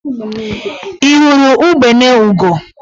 Ị hụrụ ugbene ugo?